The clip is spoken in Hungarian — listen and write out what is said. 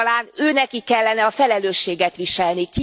Talán őnekik kellene a felelősséget viselni.